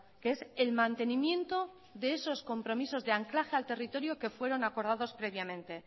que es el mantenimiento de esos compromisos de anclaje al territorio que fueron acordados previamente